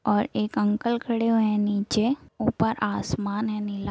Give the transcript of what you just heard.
और एक अंकल खड़े हुए हैं नीचे ऊपर आसमान है नीला --